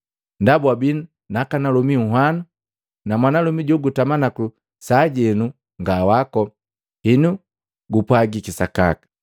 Ndaba wabii nakanalomi anhwano, na mwanalomi jogutama naku sajenu nga wako. Henu gupwajiki sakaka.”